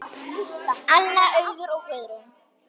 Anna, Auður og Guðrún.